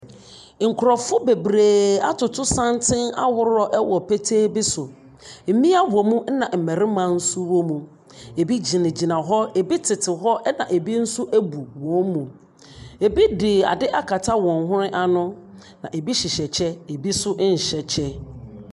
Nkurɔfoɔ bebree atoto santene ahoroɔ wɔ petee bi so. Mmea wɔ mu na mmarima nso wɔ mu. Ebi gyinagyina, ebi tetew hɔ, ɛnna ebi nsu abu wɔn mu. Ebi de ade akata wɔn hwene ano na ebi hyehyɛ kyɛ na ebi nso nhyɛ kyɛ.